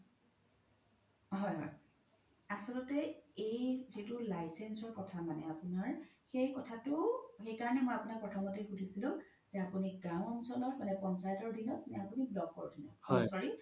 হয় হয় আচলতে এই যিতো license ৰ কথা মানে আপোনাৰ সেই কথাতো সেইকাৰনে মই আপোনাক প্ৰথমতে সুধিছিলো যে আপোনি গাও অঞ্চল মানে পঞ্চায়তৰ দিনত নে আপোনি দিনত sorry